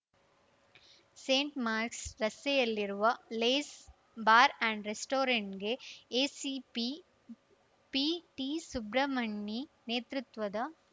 scent Mark's ರಸ್ತೆಯಲ್ಲಿರುವ Lace bar and ರೆಸ್ಟೋರೆಂಟ್‌ಗೆ ACP PT Subramani ನೇತೃತ್ವದ